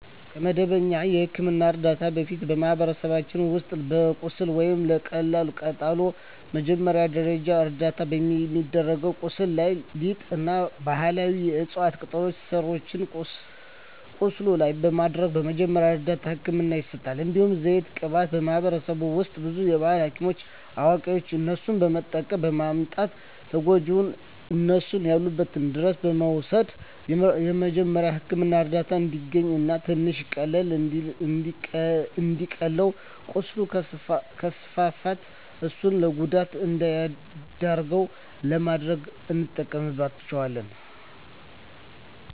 ከመደበኛ የሕክምና ዕርዳታ በፊት፣ በማኅበረሰባችን ውስጥ ለቁስል ወይም ለቀላል ቃጠሎ መጀመሪያ ደረጃ እርዳታ የሚደረገው ቁስሉ ላይ ሊጥ እና ባህላዊ የዕፅዋት ቅጠሎችን ስሮችን ቁስሉ ላይ በማድረግ መጀመሪያ እርዳታ ህክምና ይሰጣል። እንዲሁም ዘይት ቅባት በማህበረሰባችን ውስጥ ብዙ የባህል ሀኪሞች አዋቂዋች እነሱን በመጠየቅ በማምጣት ተጎጅውን እነሱ ያሉበት ድረስ በመውሰድ የመጀሪያዉ ህክምና እርዳታ እንዲያገኝ እና ትንሽ ቀለል እንዲልለት ቁስሉ ከስፋፋት እሱን ለጉዳት እንዳይዳርገው ለማድረግ እንጠቀምበታለን።